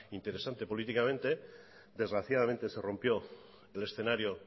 interesante políticamente desgraciadamente se rompió el escenario